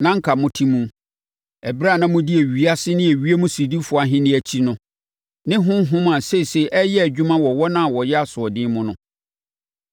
na anka mote mu, ɛberɛ a na modi ewiase ne ewiem sodifoɔ ahennie akyi no ne honhom a seesei ɛreyɛ adwuma wɔ wɔn a wɔyɛ asoɔden mu no.